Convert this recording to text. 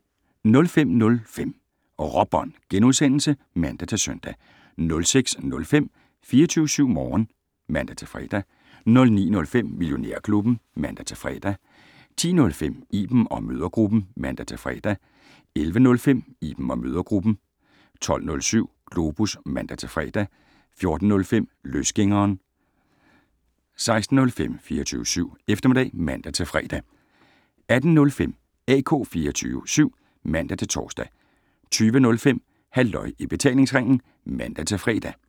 05:05: Råbånd *(man-søn) 06:05: 24syv Morgen (man-fre) 09:05: Millionærklubben (man-fre) 10:05: Iben & Mødregruppen (man-fre) 11:05: Iben & Mødregruppen 12:07: Globus (man-fre) 14:05: Løsgængeren 16:05: 24syv Eftermiddag (man-fre) 18:05: AK 24syv (man-tor) 20:05: Halløj i betalingsringen (man-fre)